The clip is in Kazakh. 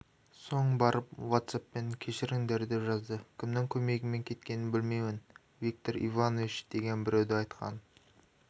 соң барып ватсаппен кешіріңдер деп жазды кімнің көмегімен кеткенін білмеймін виктор иванович деген біреуді айтқан